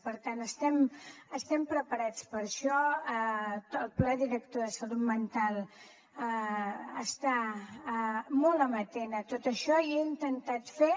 per tant estem preparats per a això el pla director de salut mental està molt amatent a tot això i jo he intentat fer